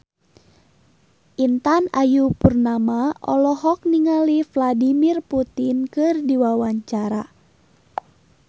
Intan Ayu Purnama olohok ningali Vladimir Putin keur diwawancara